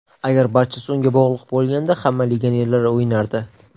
Agar barchasi unga bog‘liq bo‘lganida, hamma legionerlar o‘ynardi.